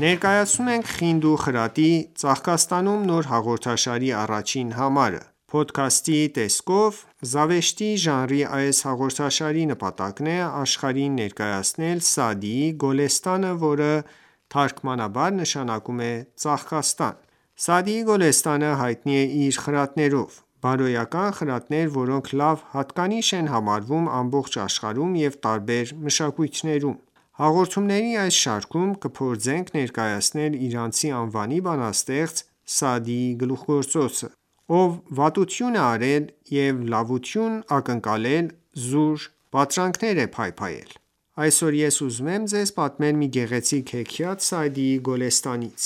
Ներկայացնում ենք «Խինդ ու խրատի ծաղկաստանում»նոր հաղորդաշարի առաջին համարը։ Փոդքասթի տեսքով զավեշտի ժանրի այս հաղորդաշարի նպատակն է աշխարհին ներկայացնել Սաադիի «Գոլեստան»-ը,որ թարգմանաբար նշանակում է ծաղկաստան: Սաադիի Գոլեստանը հայտնի է իր խրատներով: Բարոյական խրատներ, որոնք լավ հատկանիշ են համարվում ամբողջ աշխարհում և տարբեր մշակույթներում: Հաղորդումների այս շարքում կփորձենք ներկայացնել Իրանցի անվանի բանաստեղծ Սաադիի գլուխգործոցը: Ով վատություն է արել և լավություն ակնկալել զուր պատրանքներ է փայփայել: Այսօր ես ուզում եմ ձեզ պատմել մի գեղեցիկ հեքիաթ Սաադի Գոլեստանից: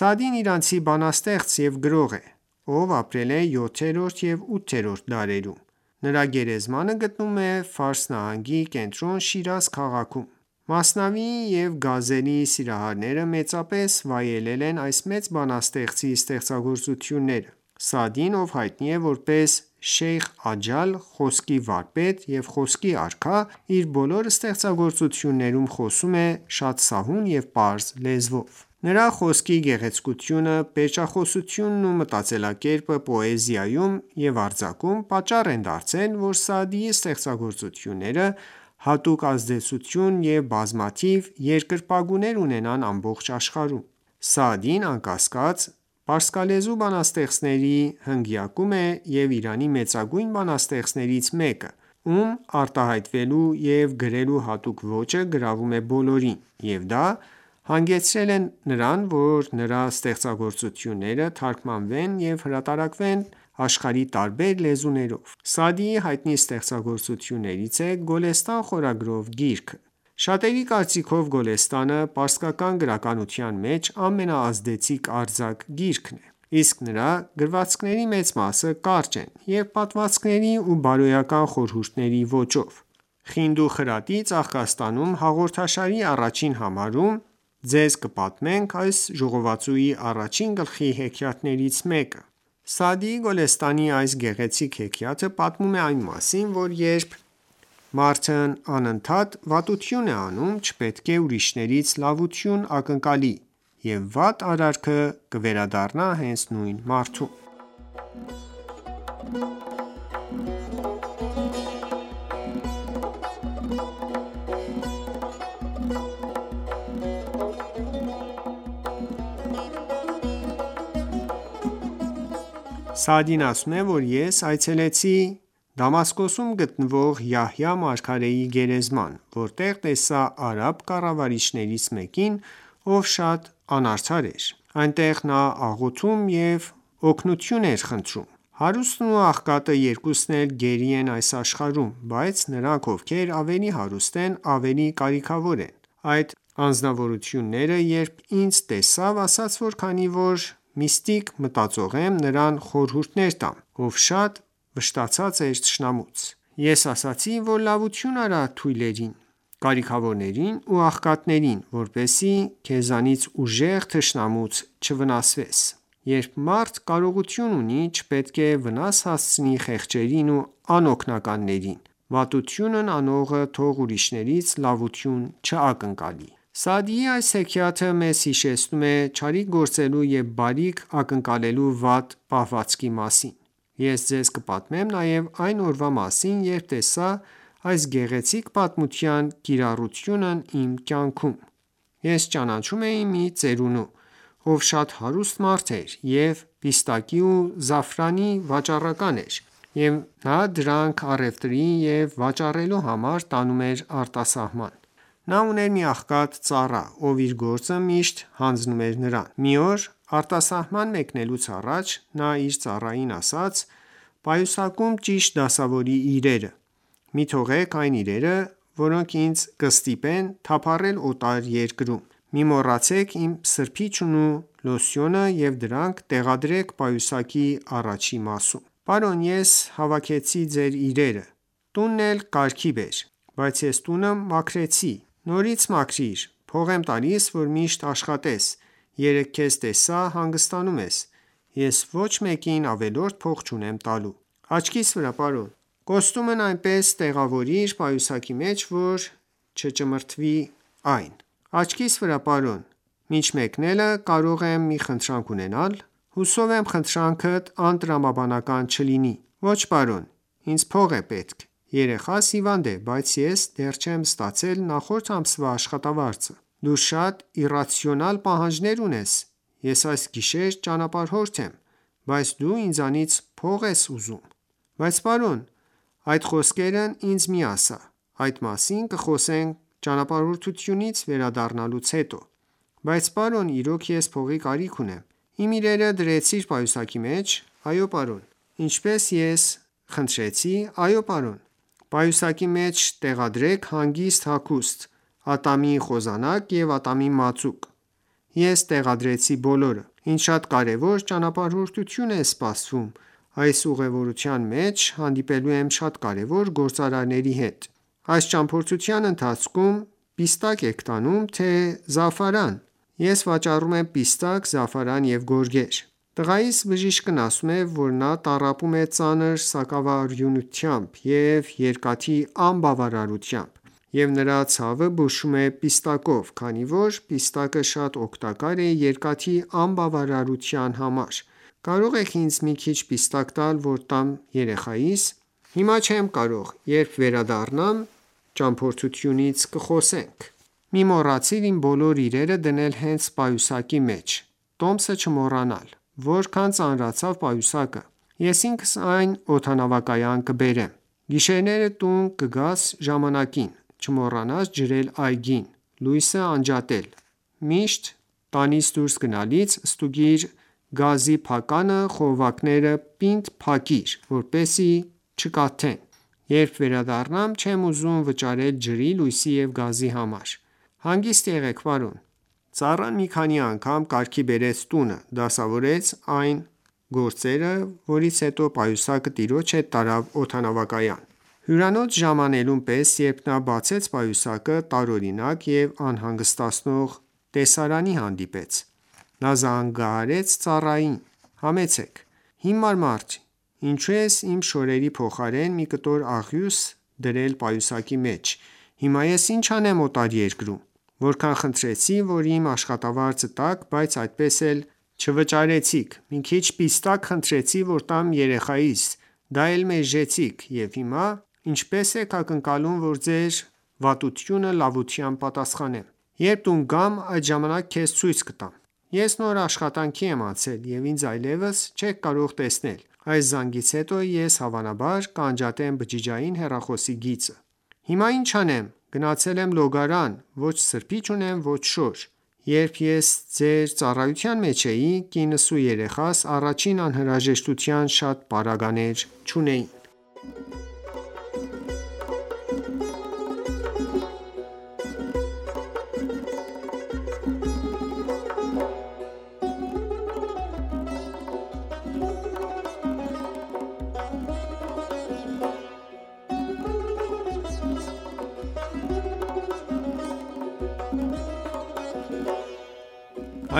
Սաադին իրանցի բանաստեղծ և գրող է, ով ապրել է 7-րդ և 8-րդ դարերում: Նրա գերեզմանը գտնվում է Ֆարս նահանգի կենտրոն Շիրազ քաղաքում։ Մասնավիի և գազելի սիրահարները մեծապես վայելել են այս մեծ բանաստեղծի ստեղծագործությունները։ Սաադին, ով հայտնի է որպես «Շեյխ Աջալ», «Խոսքի վարպետ» և «Խոսքի արքա», իր բոլոր ստեղծագործություններում խոսում է շատ սահուն և պարզ լեզվով։ Նրա խոսքի գեղեցկությունը, պերճախոսությունն ու մտածելակերպը պոեզիայում և արձակում պատճառ են դարձել, որ Սաադիի ստեղծագործությունները հատուկ ազդեցություն և բազմաթիվ երկրպագուներ ունենան ամբողջ աշխարհում: Սաադին, անկասկած, պարսկալեզու բանաստեղծների հնգյակում է և Իրանի մեծագույն բանաստեղծներից մեկը, ում արտահայտվելու և գրելու հատուկ ոճը գրավում է բոլորին և դա հանգեցրել է նրան, որ նրա ստեղծագործությունները թարգմանվեն և հրատարակվեն աշխարհի տարբեր լեզուներով։ Սաադիի հայտնի ստեղծագործություններից է «Գոլեստան» խորագրով գիրքը։ Շատերի կարծիքով Գոլեստանը պարսկական գրականության մեջ ամենաազդեցիկ արձակ գիրքն է: Իսկ նրա գրվածքների մեծ մասը կարճ են և պատմվածքների ու բարոյական խորհուրդների ոճով։ «Խինդ ու խրատի ծաղկաստանում» հաղորդաշարի առաջին համարում ձեզ կպատմենք այս ժողովածուի առաջին գլխի հեքիաթներից մեկը։ Սաադի Գոլեստանի այս գեղեցիկ հեքիաթը պատմում է այն մասին, որ երբ մարդն անընդհատ վատություն է անում, չպետք է ուրիշներից լավություն ակնկալի, և վատ արարքը կվերադառնա հենց նույն մարդուն: Սաադին ասում է, որ ես այցելեցի Դամասկոսում գտնվող Յահյա մարգարեի գերեզման, որտեղ տեսա արաբ կառավարիչներից մեկին, ով շատ անարդար էր ։ Այնտեղ նա աղոթում և օգնություն էր խնդրում: Հարուստն ու աղքատը երկուսն էլ գերի են այս աշխարհում, բայց նրանք, ովքեր ավելի հարուստ են, ավելի կարիքավոր են: Այդ անձնավորությունը երբ ինձ տեսավ, ասաց, որ քանի որ միստիկ մտածող եմ, նրան խորհուրդներ տամ, ով շատ վշտացած էր թշնամուց։ Ես ասացի, որ լավություն արա թույլերին, կարիքավորներին ու աղքատներին, որպեսզի քեզնից ուժեղ թշնամուց չվնասվես։ Երբ մարդ կարողություն ունի, չպետք է վնաս հասցնի խեղճին ու անօգնականին, վատություն անողը թող ուրիշներից լավություն չակնկալի։ Սաադիի այս հեքիաթը մեզ հիշեցնում է չարիք գործելու և բարիք ակնկալելու վատ պահվածքի մասին։ Ես ձեզ կպատմեմ նաև այն օրվա մասին, երբ տեսա այս գեղեցիկ պատմության կիրառությունն իմ կյանքում։ Ես ճանաչում էի մի ծերունու, ով շատ հարուստ մարդ էր և պիստակի ու զաֆրանի վաճառական էր, և նա դրանք առևտրի և վաճառելու համար տանում էր արտասահման։ Նա ուներ մի աղքատ ծառա, ով իր գործը միշտ հանձնում էր նրան։ Մի օր արտասահման մեկնելուց առաջ նա իր ծառային ասաց.«Պայուսակում ճիշտ դասավորիր իրերը: Մի թողեք այն իրերը, որոնք ինձ կստիպեն թափառել օտար երկրում: Մի մոռացեք իմ սրբիչն ու լոսյոնը ու դրանք տեղադրեք պայուսակի առջևի մասում»: - Պարոն, ես հավաքեցի ձեր իրերը։ -Տունն էլ կարգի բեր։ -Բայց ես տունը մաքրեցի։ - Նորից մաքրիր, փող եմ տալիս, որ միշտ աշխատես: Երեկ քեզ տեսա հանգստանում ես, ես ոչ մեկին ավելորդ փող չունեմ տալու։ -Աչքիս վրա պարոն։ -Կոստյումն այնպես տեղավորիր պայուսակի մեջ, որ չճմրթվի այն: - Աչքիս վրա պարոն, մինչ մեկնելը կարող եմ մի խնդրանք ունենալ։ -Հուսով եմ՝ խնդրանքդ անտրամաբանական չլինի։ -Ոչ պարոն, ինձ փող է պետք, երեխաս հիվանդ է, բայց ես դեռ չեմ ստացել նախորդ ամսվա աշխատավարձը։ -Դու շատ իռացիոնալ պահանջներ ունես, ես այս գիշեր ճանապարհորդ եմ, բայց դու ինձնից փող ես ուզում։ -Բայց պարոն․․․ -Այդ խոսքերն ինձ մի ասա, այդ մասին կխոսենք ճամփորդությունից վերադառնալուց հետո։ -Բայց պարոն իրոք ես փողի կարիք ունեմ -Իմ իրերը դրե՞ցիր պայուսակի մեջ։ -Այո պարոն։ -Ինչպես ես քեզ խնդրե՞ցի։ -Այո։ պարոն։ -Պայուսակի մեջ տեղադրեք հանգիստ հագուստ, ատամի խոզանակ և ատամի մածուկ - Ես տեղադրեցի բոլորը։ - Ինձ շատ կարեւոր ճանապարհորդություն է սպասվում, այս ուղեւորության մեջ հանդիպելու եմ շատ կարեւոր գործարարների հետ։ - Այս ճամփորդության ընթացքում պիստա՞կ եք տանում, թե՞ զաֆրան: - Ես վաճառում եմ պիստակ, զաֆրան և գորգեր։ - Տղայիս բժիշկն ասում է, որ նա տառապում է ծանր սակավարյունությամբ և երկաթի անբավարարությամբ, և նրա ցավը բուժվում է պիստակով, քանի որ պիստակը շատ օգտակար է երկաթի անբավարարության համար։ Կարո՞ղ եք ինձ մի քիչ պիստակ տալ որ տամ երեխայիս: - Հիմա չեմ կարող, երբ վերադառնամ ճամփորդությունից կխոսենք: -Մի՛ մոռացիր իմ բոլոր իրերը դնել հենց պայուսակի մեջ՝ տոմսը չմոռանալ: -Որքան ծանրացավ պայուսակը։ -Ես ինքս այն օդանավակայան կբերեմ։ - Գիշերները տուն կգաս ժամանակին: Չմոռանաս ջրել այգին, լույսը անջատել։ Միշտ տանից դուրս գնալիս ստուգիր գազի փականը խողովակները պինդ փակիր, որպեսզի չկաթեն։ Երբ վերադառնամ չեմ ուզում վճարել ջրի, լույսի և գազի համար: -Հանգիստ եղեք պարոն։ Ծառան մի քանի անգամ կարգի բերեց տունը, դասավորեց տան գործերը, որից հետո պայուսակը տիրոջ հետ տարավ օդանավակայան։ Հյուրանոց ժամանելուն պես երբ նա բացեց պայուսակը տարօրինակ և անհանգստացնող տեսարանի հանդիպեց: -Նա զանգահարեց ծառային -Համեցեք -Հիմար մարդ, ինչո՞ւ ես իմ շորերի փոխարեն մի կտոր աղյուս դրել պայուսակի մեջ, հիմա ես ի՞նչ անեմ օտար երկրում: -Որքան խնդրեցի, որ իմ աշխատավարձը տաք, բայց այդպես էլ չվաճարեցիք, մի քիչ պիստակ խնդրեցի որ տամ երեխայիս, դա էլ մերժեցիք, ու հիմա ինչպե՞ս եք ակնկալում, որ ձեր վատությունը լավությամբ պատասխանեմ։ -Երբ տուն գամ, այդ ժամանակ քեզ ցույց կտամ։ -Ես նոր աշխատանքի եմ անցել և ինձ այլևս չեք կարող տեսնել, այս զանգից հետո ես հավանաբար կանջատեմ բջջային հեռախոսի գիծը: -Հիմա ի՞նչ անեմ, գնացել եմ լոգարան, ոչ սրբիչ ունեմ, ոչ շոր։ -Երբ ես ձեր ծառայության մեջ էի, կինս ու երեխաս առաջին անհրաժեշտության շատ պարագաներ չունեին։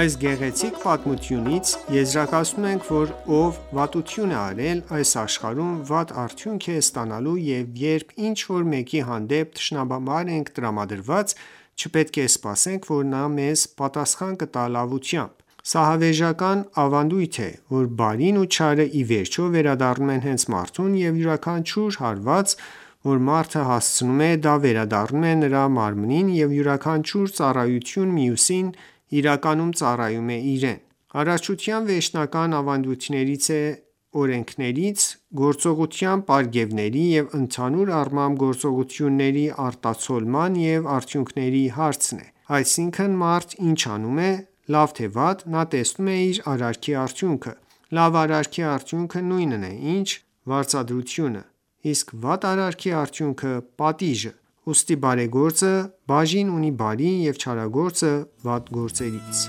Այս գեղեցիկ պատմությունից եզրակացնում ենք, որ ով վատություն արել, այս աշխարհում վատ արդյունք է ստանալու և երբ ինչ-որ մեկի հանդեպ թշնամաբար ենք տրամադրված, չպետք է սպասենք, որ նա մեզ պատասխան կտա լավությամբ: Սա հավերժական ավանդույթ է, որ բարին ու չարը ի վերջո վերադառնում են հենց մարդուն և յուրաքանչյուր հարված, որ մարդը հասցնում է, դա վերադառնում է նրա մարմնին և յուրաքանչյուր ծառայություն մյուսին իրականում ծառայում է իրեն: Արարչության վերջնական ավանդույթներից և օրենքներից է գործողության պարգևների և ընդհանուր առմամբ գործողությունների արտացոլման և արդյունքների հարցը: Այսինքն՝ մարդ ինչ անում է՝ լավ թե վատ, նա տեսնում է իր արարքի արդյունքը, լավ արարքի արդյունքը նույնն է, ինչ վարձատրությունը, իսկ վատ արարքի արդյունքը՝ պատիժը։ Ուստի բարեգործը բաժին ունի բարի և չարագործը վատ գործերից